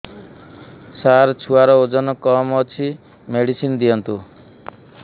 ସାର ଛୁଆର ଓଜନ କମ ଅଛି ମେଡିସିନ ଦିଅନ୍ତୁ